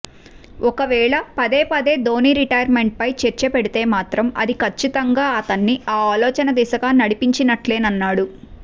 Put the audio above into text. ఒకవేళ పదే పదే ధోని రిటైర్మెంట్పై చర్చ పెడితే మాత్రం అది కచ్చితంగా అతన్ని ఆ ఆలోచన దిశగా నడిపించినట్లేనన్నాడు